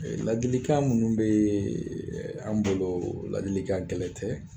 Ladilikan minnu bɛ an bolo ladilikan gɛlɛn tɛ